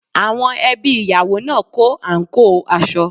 Àwọn ẹbí ìyàwó náà kó àǹkóò aṣọ